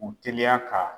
U teliya ka